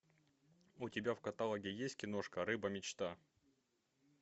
у тебя в каталоге есть киношка рыба мечта